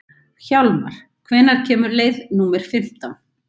Hjálmar, hvenær kemur leið númer fimmtán?